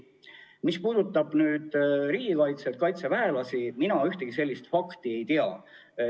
Mis puudutab riigikaitset ja kaitseväelasi, siis mina ühtegi sellist fakti ei tea.